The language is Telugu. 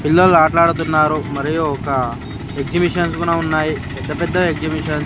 పిల్లలు ఆట్లాడుతున్నారు మరియు ఒక ఎగ్జిబిషన్స్ కుడా ఉన్నాయి పెద్ద పెద్ద ఎగ్జిబిషన్స్ .